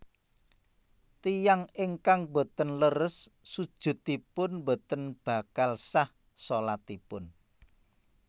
Tiyang ingkang boten leres sujudipun boten bakal sah shalatipun